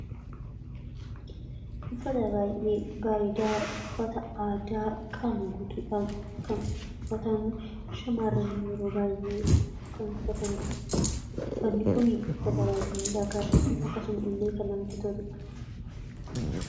uffata baay'ee bareedaa uffata aadaa qaama guutuudhaan kan uffatamu shamaarrani yeroo baay'ee kan uffatanidha uffanni kun uffata baayyee miidhagaadha akkasuma illee kan namatti toludha